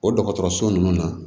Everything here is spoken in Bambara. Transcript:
O dɔgɔtɔrɔso nunnu na